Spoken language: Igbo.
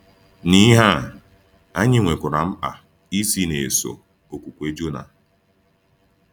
N’ihe a, anyị nwekwara mkpa isi na-eso okwukwe Jona.